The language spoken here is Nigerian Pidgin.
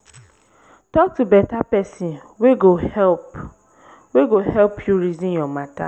tok to beta pesin wey go help wey go help yu reason yur mata